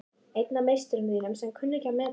Einn af meisturum þínum sem þú kunnir ekki að meta.